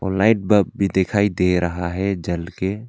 night bulb भी दिखाई दे रहा है जलक--